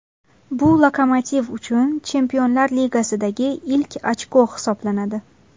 Bu ‘Lokomotiv’ uchun Chempionlar ligasidagi ilk ochko hisoblanadi.